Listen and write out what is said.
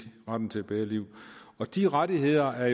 retten til et bedre liv de rettigheder er